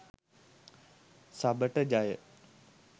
සබට ජය